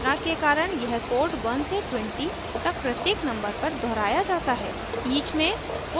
each loop की घोषणा के कारण यह कोड 1 से 20 तक प्रत्येक नंबर पर दोहराया जाता है